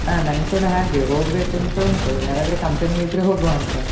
ಆ ನಂಗ್ ಕೂಡಾ ಹಾಗೇ ಹೋಗ್ಬೆಕು ಅಂತ ಉಂಟು ಯಾರದ್ರೆ company ಗೆ ಇದ್ರೆ ಹೋಗುವ ಅಂತ.